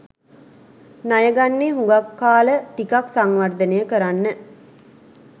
ණයගන්නේ හුඟක් කාල ටිකක් සංවර්ධනය කරන්න.